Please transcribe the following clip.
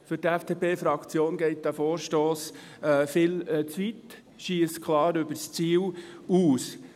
Für die FDP-Fraktion geht dieser Vorstoss viel zu weit, schiesst klar übers Ziel hinaus.